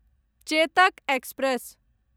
Chetak express